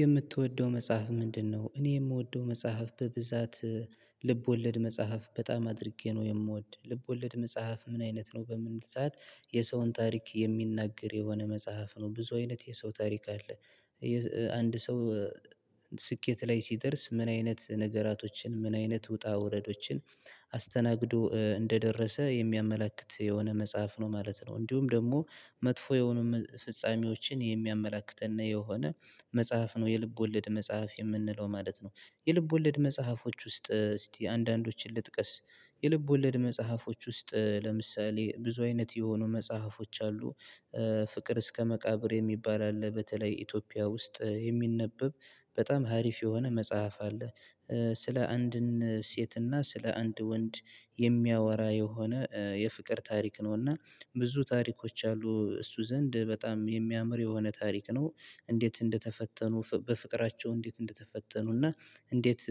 የምትወደው መጽሐፍ ምንድነው? እኔ የምወደው መጽሐፍ በብዛት ልብ ወለድ መጽሐፍ በጣም አድርጌ ነው የምወድ ልብ ወለድ መጽሐፍ ምን አይነት ነው በምንል ሰዓት? የሰውን ታሪክ የሚናገር የሆነ መጽሐፍ ነው ብዙ አይነት የሰው ታሪክ አለ። አንድ ሰው። ስኬት ላይ ሲደርስ ምን አይነት ነገራቶችን ምን አይነት ውጣ ውረዶችን አስተናግዶ እንደደረሰ የሚያመላክት የሆነ መጽሐፍ ነው ማለት ነው። እንዲሁም ደግሞ መጥፎ የሆኑ ፍጻሜዎችን የሚያመላክተን እና የሆነ መጽሐፍ ነው የልብ ወለድ መጽሐፍ የምንለው ማለት ነው። የልብ ወለድ መጽሐፎች ውስጥ እስቲ አንዳንዶችን ልጥቀስ። የልብ ወለድ መጽሐፎች ውስጥ ለምሳሌ ብዙ አይነት የሆኑ መጽሐፎች አሉ። ፍቅር እስከ መቃብር የሚባል አለ በተለይ ኢትዮጵያ ውስጥ የሚነበብ በጣም ሀሪፍ የሆነ መጽሐፍ አለ። ስለ አንድን ሴትና ስለ አንድ ወንድ የሚያወራ የሆነ የፍቅር ታሪክ ነውና ብዙ ታሪኮች አሉ እሱ ዘንድ በጣም የሚያምር የሆነ ታሪክ ነው። እንዴት እንደተፈተኑ በፍቅራቸው እንዴት እንደተፈተኑ እና እንዴት